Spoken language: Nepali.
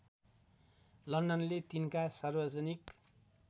लन्डनले तिनका सार्वजनिक